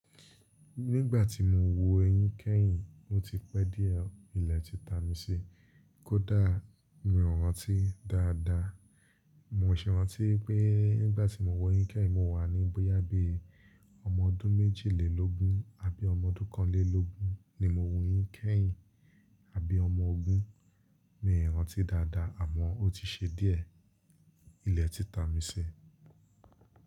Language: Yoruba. Nígbà tí mo wu èyín kẹ́yìn, ó ti pẹ́ díẹ̀, ilẹ̀ ti ta mi sí. Kódà mi ò rántí dáadáa. Mo ṣẹ̀ rántí pé nígbà tí mo wu èyín kẹ́yìn mo wà ní bóyá bí i ọmọ ọdún méjìlélógún àbí ọmọ ọdún kánlélógún ni mo wu èyín kẹ́yìn. Àbí ọmọ ogún mi ò rántí dáadáa àmọ́ ó ti ṣe díẹ̀. Ilẹ̀ ti ta mi sí.